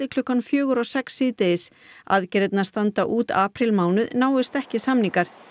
klukkan fjögur og sex síðdegis aðgerðirnar standa út aprílmánuð náist ekki samningar